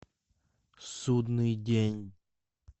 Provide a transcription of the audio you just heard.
судный день